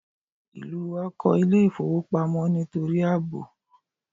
Ìlú wa kòní Ilé ìfowópamọ́ nítorí àbò